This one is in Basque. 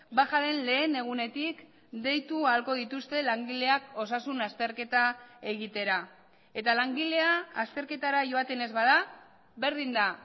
bajaren lehen egunetik deitu ahalko dituzte langileak osasun azterketa egitera eta langilea azterketara joaten ez bada berdin da